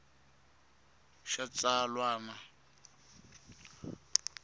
xa xitsalwana a yi ve